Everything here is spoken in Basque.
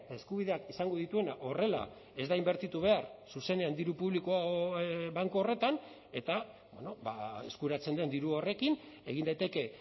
eskubideak esango dituena horrela ez da inbertitu behar zuzenean diru publiko banku horretan eta eskuratzen den diru horrekin egin daiteke